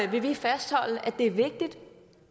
vil vi fastholde at det er vigtigt